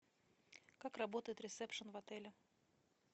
как работает ресепшен в отеле